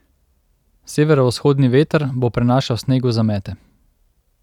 Severovzhodni veter bo prenašal sneg v zamete.